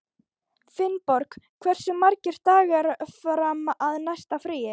Finnborg, hversu margir dagar fram að næsta fríi?